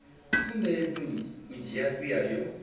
sumbedzi u dzhia sia yo